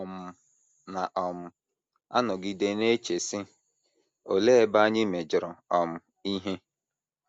Ị um na um - anọgide na - eche, sị, ‘ Olee ebe anyị mejọrọ um ihe?